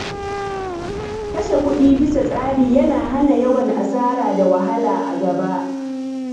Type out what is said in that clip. Kashe kuɗi bisa tsari yana hana yawan asara da wahala a gaba.